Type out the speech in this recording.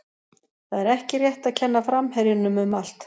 Það er ekki rétt að kenna framherjunum um allt.